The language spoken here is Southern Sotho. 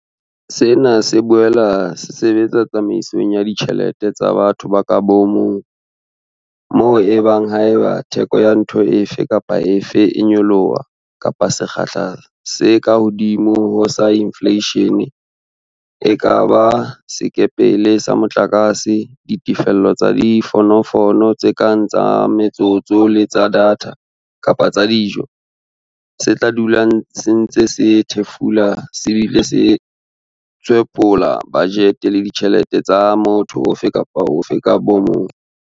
Sena se boela se sebetsa tsamaisong ya ditjhe lete tsa batho ka bomong, moo e bang haeba theko ya ntho efe kapa efe e nyoloha ka sekgahla se kahodimo ho sa infleishene - e ka ba sekepele sa motlakase, ditefello tsa difonofono tse kang tsa metsotso le tsa data kapa tsa dijo - se tla dula se ntse se thefula se bile se tshwephola bajete le ditjhelete tsa motho ofe kapa ofe ka bomong.